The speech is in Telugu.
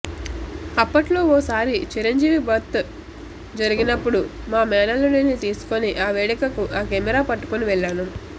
అప్పట్లో ఓసారి చిరంజీవి బర్త్ జరిగినపుడు మా మేనల్లుడిని తీసుకుని ఆ వేడుకకు ఆ కెమెరా పట్టుకుని వెళ్లాను